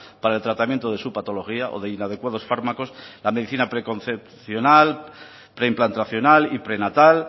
para el tratamiento de su patología o de inadecuados fármacos la medicina preconcepcional preimplantacional y prenatal